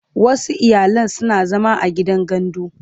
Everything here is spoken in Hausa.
Wasu iyalan suna zama a gidan gandu.